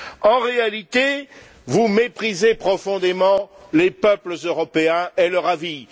En réalité, vous méprisez profondément les peuples européens et leur avis.